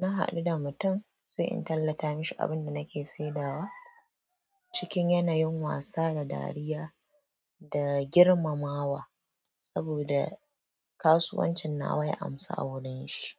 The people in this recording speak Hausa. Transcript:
na haɗu da mutum sai in tallata mashi abinda nake saidawa cikin yanayin wasa da dariya da girmamawa saboda kasuwancin nawa ya amsa a wurin shi.